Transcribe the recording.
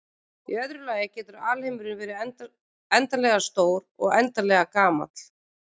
Í öðru lagi getur alheimurinn verið endanlega stór og óendanlega gamall.